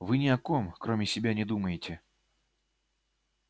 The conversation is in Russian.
вы ни о ком кроме себя не думаете